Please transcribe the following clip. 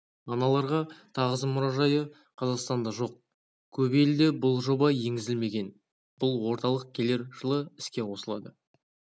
аналарға тағзым мұражайы қазақстанда жоқ көп елде бұл жоба енгізілмеген бұл орталық келер жылы іске қосылады